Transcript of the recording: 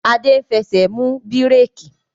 Adé ń fẹsẹ̀ mú bíréékì